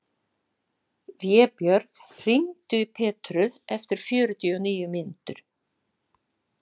Vébjörg, hringdu í Petru eftir fjörutíu og níu mínútur.